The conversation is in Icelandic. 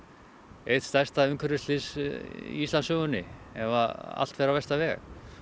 eitt stærsta umhverfisslys í Íslandssögunni ef allt fer á versta veg